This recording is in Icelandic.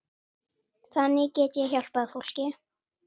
Þannig get ég hjálpað fólki.